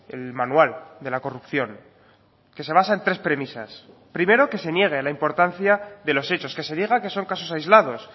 el manual de la corrupción que se basa en tres premisas primero que se niegue la importancia de los hechos que se diga que son casos aislados